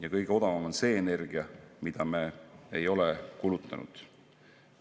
Aga kõige odavam on see energia, mida me ei ole kulutanud.